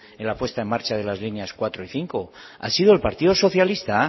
en la puesta en marcha de las líneas cuatro y cinco ha sido el partido socialista